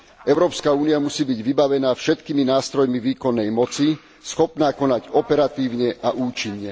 Európska únia musí byť vybavená všetkými nástrojmi výkonnej moci, schopná konať operatívne a účinne.